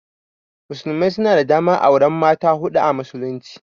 Musulmai suna da daman auran mata hudu a musulunci.